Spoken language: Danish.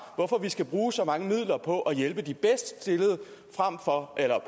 hvorfor vi skal bruge så mange midler på at hjælpe de bedst stillede